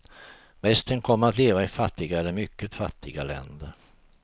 Resten kommer att leva i fattiga eller mycket fattiga länder.